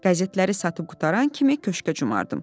Qəzetləri satıb qutaran kimi köşka cumardım.